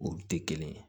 U tɛ kelen ye